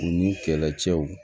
U ni kɛlɛcɛw